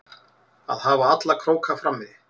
Að hafa alla króka frammi